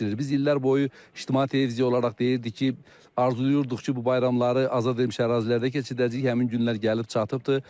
Biz illər boyu İctimai Televiziya olaraq deyirdik ki, arzulayırdıq ki, bu bayramları azad edilmiş ərazilərdə keçirdəcəyik, həmin günlər gəlib çatıbdır.